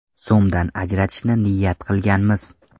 so‘mdan ajratishni niyat qilganmiz.